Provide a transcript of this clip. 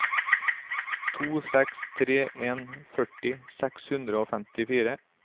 to seks tre en førti seks hundre og femtifire